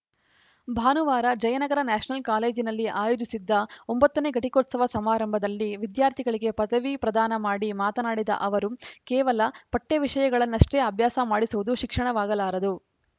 ಭಾನುವಾರ ಜಯನಗರ ನ್ಯಾಷನಲ್‌ ಕಾಲೇಜಿನಲ್ಲಿ ಆಯೋಜಿಸಿದ್ದ ಒಂಬತ್ತ ನೇ ಘಟಿಕೋತ್ಸವ ಸಮಾರಂಭದಲ್ಲಿ ವಿದ್ಯಾರ್ಥಿಗಳಿಗೆ ಪದವಿ ಪ್ರದಾನ ಮಾಡಿ ಮಾತನಾಡಿದ ಅವರು ಕೇವಲ ಪಠ್ಯವಿಷಯಗಳನ್ನಷ್ಟೇ ಅಭ್ಯಾಸ ಮಾಡಿಸುವುದು ಶಿಕ್ಷಣವಾಗಲಾರದು